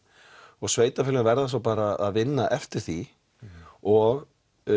og sveitafélögin verða svo bara að vinna eftir því og